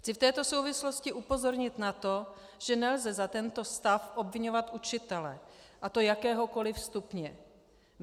Chci v této souvislosti upozornit na to, že nelze za tento stav obviňovat učitele, a to jakéhokoliv stupně.